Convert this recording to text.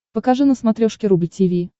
покажи на смотрешке рубль ти ви